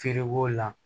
Feere b'o la